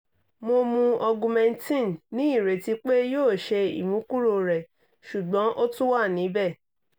mo mu augmentin ni ireti pe yoo ṣe imukuro rẹ ṣugbọn o tun wa nibẹ